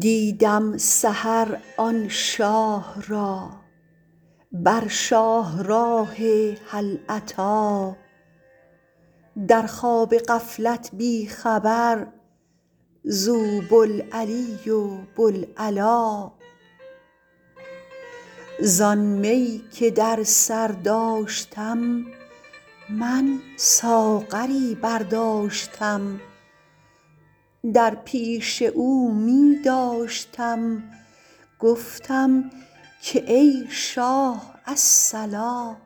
دیدم سحر آن شاه را بر شاهراه هل اتی در خواب غفلت بی خبر زو بوالعلی و بوالعلا زان می که در سر داشتم من ساغری برداشتم در پیش او می داشتم گفتم که ای شاه الصلا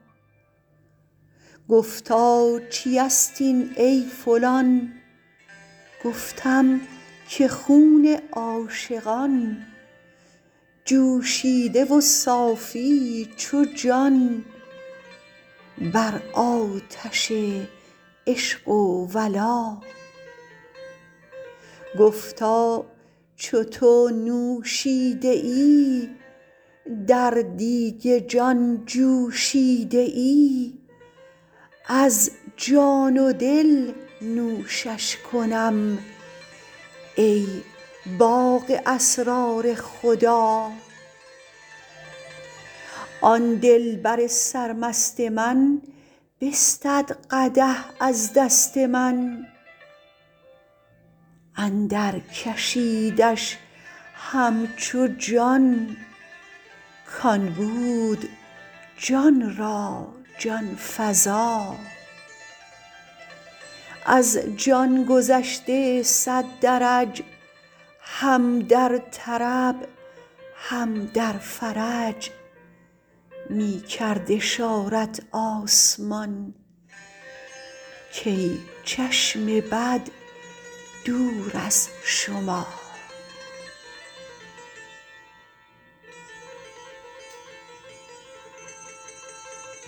گفتا چیست این ای فلان گفتم که خون عاشقان جوشیده و صافی چو جان بر آتش عشق و ولا گفتا چو تو نوشیده ای در دیگ جان جوشیده ای از جان و دل نوشش کنم ای باغ اسرار خدا آن دلبر سرمست من بستد قدح از دست من اندرکشیدش همچو جان کان بود جان را جان فزا از جان گذشته صد درج هم در طرب هم در فرج می کرد اشارت آسمان کای چشم بد دور از شما